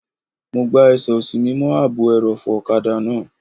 Mo gbá ẹsẹ̀ òsì mi mọ́ ààbò ẹrọ̀fọ̀ ọ̀kadà náà